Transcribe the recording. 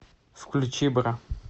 включи бра